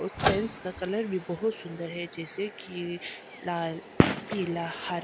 उस का कलर भी बहुत सुंदर है जैसे कि ये लाल पीला हरा।